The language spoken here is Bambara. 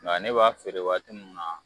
Nga ne b'a feere waati munnu na